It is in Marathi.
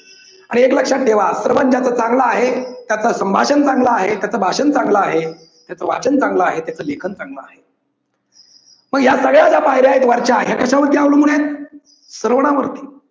आणि एक लक्षात ठेवा श्रवण ज्याच चांगला आहे, त्याच संभाषण चांगल आहे, त्याचं भाषण चांगल आहे, त्याचं वाचन चांगल आहे, त्याचं लेखन चांगल आहे मग या सगळ्या ज्या पायऱ्या आहेत वरच्या आहेत या कशावरती अवलंबून आहेत. श्रवणावरती.